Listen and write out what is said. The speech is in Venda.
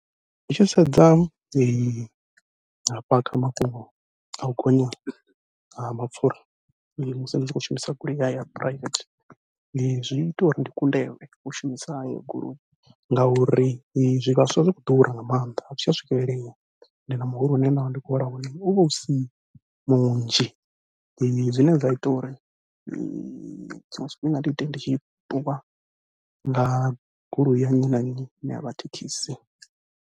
Ndi tshi sedza hafha kha mafhungo au gonya ha mapfhura musi ni tshi khou shumisa goloi ya ya private, zwi ita uri ndi kundelwe u shumisa heyo goloi ngauri zwivhaswa zwi khou ḓura nga maanḓa a zwi tsha swikelelea, ende na muholo une ndavha ndi khou hola wone uvha usi munzhi, zwine zwa ita uri tshiṅwe tshifhinga ndi ite ndi tshi ṱuwa nga goloi ya nnyi na nnyi ine yavha thekhisi.